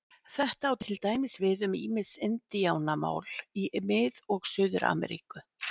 Þetta á til dæmis við um ýmis indíánamál í Mið- og Suður-Ameríku.